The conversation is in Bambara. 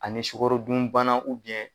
Ani ni sukarodunbana .